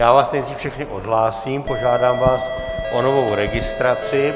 Já vás nejdřív všechny odhlásím, požádám vás o novou registraci.